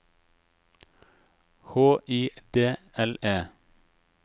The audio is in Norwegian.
H I D L E